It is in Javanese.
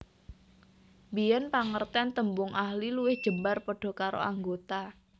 Biyen pangerten tembung ahli luwih jembar padha karo anggota